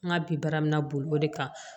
N ka bi baara min na boli o de kan